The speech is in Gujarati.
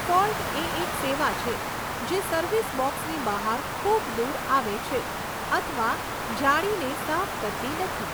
ફોલ્ટ એ એક સેવા છે જે સર્વિસ બોક્સની બહાર ખૂબ દૂર આવે છે અથવા જાળીને સાફ કરતી નથી.